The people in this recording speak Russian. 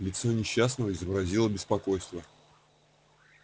лицо несчастного изобразило беспокойство